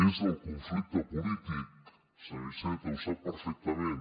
és el conflicte polític senyor iceta ho sap perfectament